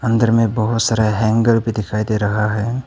घर में बहुत सारे हैंगर भी दिखाई दे रहा है।